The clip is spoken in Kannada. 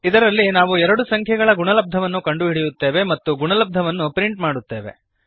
ಇದರಲ್ಲಿ ನಾವು ಎರಡು ಸಂಖ್ಯೆಗಳ ಗುಣಲಬ್ಧವನ್ನು ಕಂಡುಹಿಡಿಯುತ್ತೇವೆ ಮತ್ತು ಗುಣಲಬ್ಧವನ್ನು ಪ್ರಿಂಟ್ ಮಾಡುತ್ತೇವೆ